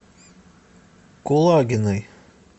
кулагиной